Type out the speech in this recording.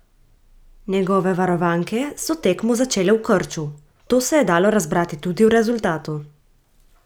Njegove varovanke so tekmo začele v krču, to se je dalo razbrati tudi v rezultatu.